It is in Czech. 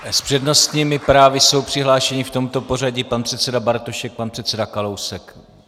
S přednostními právy jsou přihlášeni v tomto pořadí pan předseda Bartošek, pan předseda Kalousek.